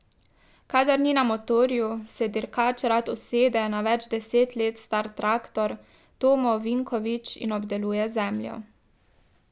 Kadar ni na motorju, se dirkač rad usede na več deset let star traktor Tomo Vinkovič in obdeluje zemljo.